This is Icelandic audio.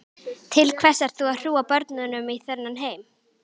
Til hvers ert þú að hrúga börnum í þennan heim?